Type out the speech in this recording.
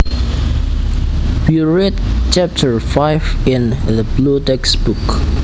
We read chapter five in the blue textbook